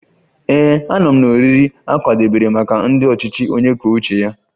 Ee, anọ m na oriri a kwadebere maka ndị ọchịchị onye kwuo uche ya